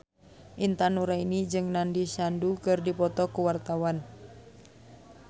Intan Nuraini jeung Nandish Sandhu keur dipoto ku wartawan